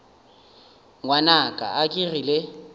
ngwanaka a ke re le